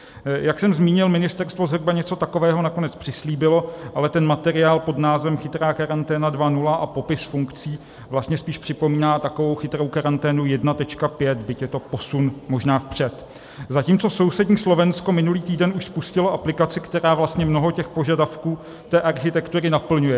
Jak jsem zmínil, ministerstvo zhruba něco takového nakonec přislíbilo, ale ten materiál pod názvem Chytrá karanténa 2.0 a popis funkcí vlastně spíš připomíná takovou chytrou karanténu 1.5, byť je to posun možná vpřed, zatímco sousední Slovensko minulý týden už spustilo aplikaci, která vlastně mnoho těch požadavků té architektury naplňuje.